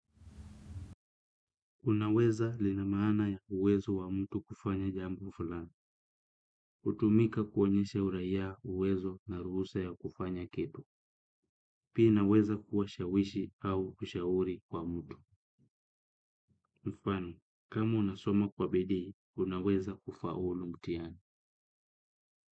Unaweza lina maana ya uwezo wa mtu kufanya jambo fulani hutumika kuonyesha uraia, uwezo na ruhusa ya kufanya kitu. Pi inaweza kuwa shawishi au kushauri kwa mtu. Mfano, kama unasoma kwa bidii, unaweza kufaulu mtihani.